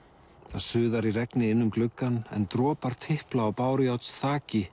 það suðar í regni inn um gluggann en dropar tipla á